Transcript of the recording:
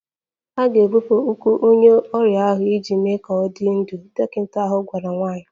A ga-ebipụ ụkwụ onye ọrịa ahụ iji mee ka ọ dị ndụ, dọkịta ahụ gwara nwanyị